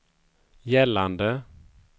gällande